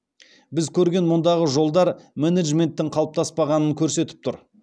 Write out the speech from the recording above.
біз көрген мұндағы жолдар менеджменттің қалыптаспағанын көрсетіп тұр